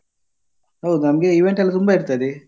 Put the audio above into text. ಹೌದು ನಮ್ದು event ಎಲ್ಲ ತುಂಬ ಇರ್ತದೆ.